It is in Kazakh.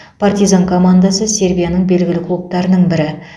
партизан командасы сербияның белгілі клубтарының бірі